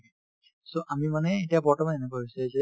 so, আমি মানে এতিয়া বৰ্তমান এনেকুৱা হৈছে যে